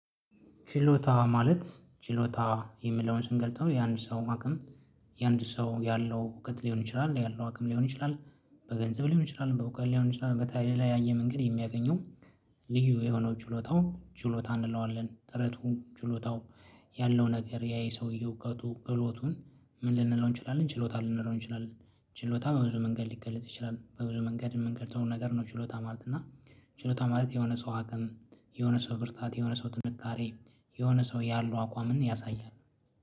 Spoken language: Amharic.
ችሎታ ማለት ችሎታ የሚለውን ስንገልጸው የአንድ ሰውን አቅም የአንድ ሰው ያለው እውቀት ሊሆን ይችላል፤ ያለው አቅም ሊሆን ይችላል፤ በገንዘብ ሊሆን ይችላል፤ በእውቀት ሊሆን ይችላል፤ በተለያየ መንገድ የሚያገኘው ልዩ የሆነው ችሎታው ችሎታ እንለዋለን። ጥረቱ፣ ችሎታው ያለው ነገር ያ የሰውየው እውቀቱ፣ ክህሎቱን ምን ልንለው እንችላለን ችሎታ ልንለው እንችላለን። ችሎታ በብዙ መንገድ ሊገለጽ ይችላል። በብዙ መንገድ የምንልጸው ነገር ነው ችሎታ ማለት። እና ችሎታ ማለት የሆነ ሰው አቅም፤ የሆነ ሰው ብርታት፤ የሆነ ሰው ጥንካሬ የሆነ ሰው ያለው አቋምን ያሳያል።